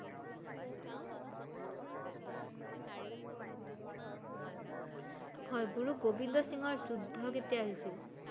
হয়, গুৰু গোবিন্দ সিংহৰ যুদ্ধ কেতিয়া হৈছিল?